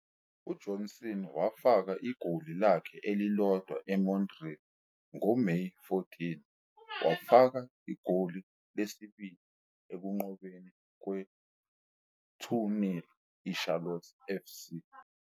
UJohnston wafaka igoli lakhe elilodwa eMontreal ngoMeyi 14, wafaka igoli elibili ekunqobeni kwe-2-0 I-Charlotte FC.